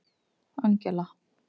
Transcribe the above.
Angela